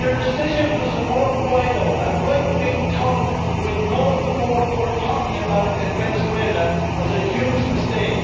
Your decision to support Guaidó, a right-wing thug with no support worth talking about in Venezuela, was a huge mistake.